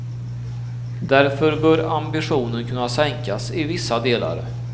Därför bör ambitionen kunna sänkas i vissa delar.